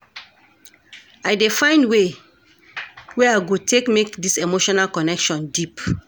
I dey find way wey I go take make dis our emotional connection deep.